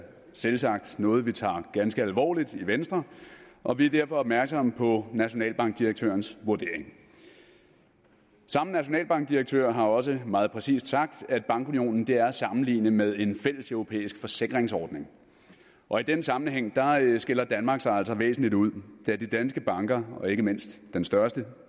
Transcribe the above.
selvsagt noget vi tager ganske alvorligt i venstre og vi er derfor opmærksomme på nationalbankdirektørens vurdering samme nationalbankdirektør har også meget præcist sagt at bankunionen er at sammenligne med en fælleseuropæisk forsikringsordning og i den sammenhæng skiller danmark sig altså væsentligt ud da de danske banker og ikke mindst den største